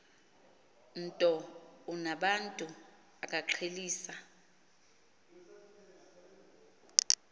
nto unobantu akaqhelisa